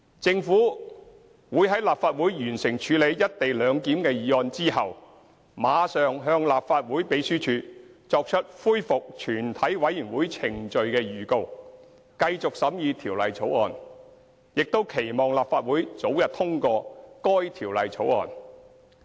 政府會在立法會完成處理"一地兩檢"的議案後，馬上向立法會秘書處作出恢復全體委員會程序的預告，繼續審議《條例草案》，並期望立法會早日通過該《條例草案》。